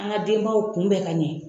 An ka denbaw kunbɛ ka ɲɛ.